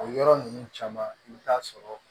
O yɔrɔ ninnu caman i bɛ taa sɔrɔ